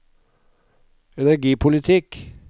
energipolitikk